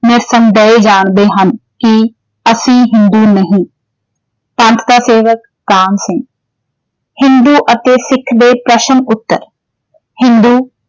ਨਿਰਸੰਦੇਹ ਜਾਣਦੇ ਹਨ ਕਿ ਅਸੀਂ ਹਿੰਦੂ ਨਹੀਂ ਪੰਥ ਕਾ ਸੇਵਕ ਕਾਹਨ ਸਿੰਘ ਹਿੰਦੂ ਅਤੇ ਸਿੱਖ ਦੇ ਪ੍ਰਸ਼ਨ ਉੱਤਰ ਹਿੰਦੂ